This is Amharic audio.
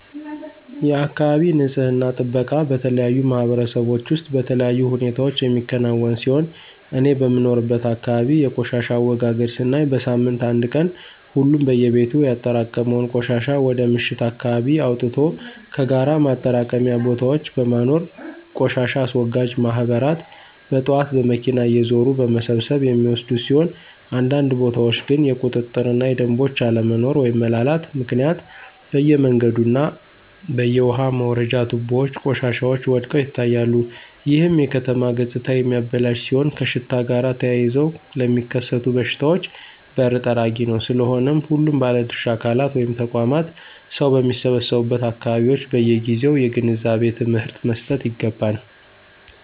የአካባቢ ንፅህና ጥበቃ በተለያዩ ማህበረሰቦች ውስጥ በተለያዩ ሁኔታዎች የሚከናወን ሲሆን እኔ በምኖርበት አካባቢ የቆሻሻ አወጋገድ ስናይ በሳምንት አንድ ቀን ሁሉም በየቤቱ ያጠራቀመውን ቆሻሻ ወደ ምሽት አካባቢ አወጥቶ ከጋራ ማጠራቀሚያ ቦታዎች በማኖር ቆሻሻ አስወጋጅ ማህበራት በጥዋት በመኪና እየዞሩ በመሰብሰብ የሚወስዱት ሲሆን አንዳንድ ቦታዎች ግን የቁጥጥር እና የደምቦች አለመኖሮ (መላላት)ምክንያት በየመንገዱ እና በየውሃ መውረጃ ትቦዎች ቆሻሻዎች ወድቀው ይታያሉ ይህም የከተማ ገፅታ የሚያበላሽ ሲሆን ከሽታ ጋር ተያይዘው ለሚከሰቱ በሽታዎች በር ጠራጊ ነው። ስለሆነም ሁሉም ባለድርሻ አካላት (ተቋማት) ሰው በሚሰበሰቡበት አካባቢዎች በየጊዜው የግንዛቤ ትምህርት መሰጠት ይገባል።